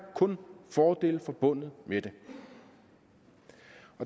kun fordele forbundet med det